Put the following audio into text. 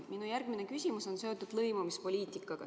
Minu järgmine küsimus on seotud lõimumispoliitikaga.